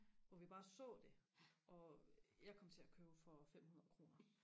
hvor vi bare så det og jeg kom til og købe for femhundrede kroner